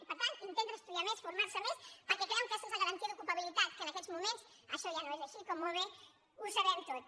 i per tant intenten estudiar més formar se més perquè creuen que aquesta és la garantia d’ocupabilitat que en aquests moments això ja no és així com molt bé ho sabem tots